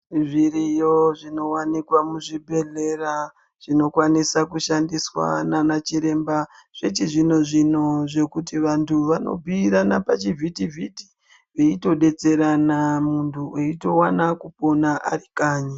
Zviriyo zvinowanikwa muzvibhedhlera zvinokwanisa kushandiswa nana chiremba zvechizvino-zvino zvekuti vantu vanobhuira anobhuirwa pachivhiti-vhiti veitodetserana munhu eitowana kupona aro kanyi.